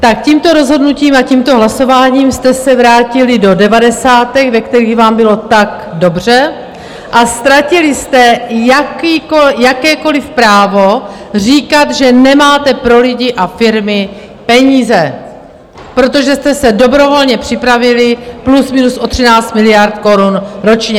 Tak, tímto rozhodnutím a tímto hlasováním jste se vrátili do devadesátek, ve kterých vám bylo tak dobře, a ztratili jste jakékoliv právo říkat, že nemáte pro lidi a firmy peníze, protože jste se dobrovolně připravili plus minus o 13 miliard korun ročně.